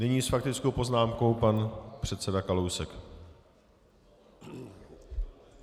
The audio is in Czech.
Nyní s faktickou poznámkou pan předseda Kalousek.